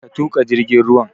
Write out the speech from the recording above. Ka tuƙa jirgin ruwan!